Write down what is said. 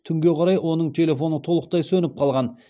түнге қарай оның телефоны толықтай сөніп қалған